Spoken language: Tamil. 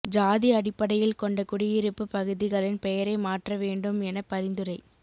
ஜாதி அடிப்படையில் கொண்ட குடியிருப்பு பகுதிகளின் பெயரை மாற்ற வேண்டும் என பரிந்துரை